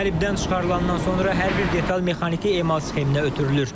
Qəlibdən çıxarıldıqdan sonra hər bir detal mexaniki emal sxeminə ötürülür.